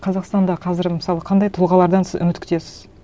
қазақстанда қазір мысалы қандай тұлғалардан сіз үміт күтесіз